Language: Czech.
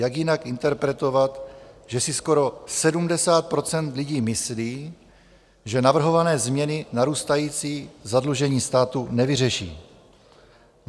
Jak jinak interpretovat, že si skoro 70 % lidí myslí, že navrhované změny narůstající zadlužení státu nevyřeší?